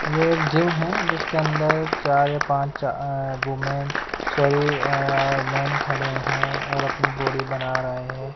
ये एक जिम है जिसके अंदर चार या पांच वूमेन सॉरी मेन खड़े हुए हैं और अपनी बॉडी बना रहे हैं।